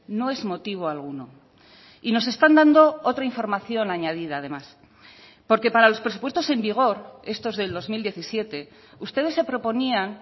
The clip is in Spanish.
no es motivo alguno y nos están dando otra información añadida además porque para los presupuestos en vigor estos del dos mil diecisiete ustedes se proponían